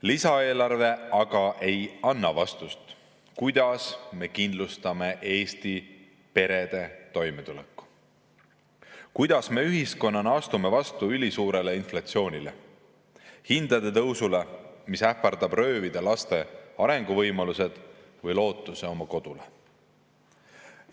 Lisaeelarve aga ei anna vastust, kuidas me kindlustame Eesti perede toimetuleku, kuidas me ühiskonnana astume vastu ülisuurele inflatsioonile, hindade tõusule, mis ähvardab röövida laste arenguvõimalused või lootuse oma kodule.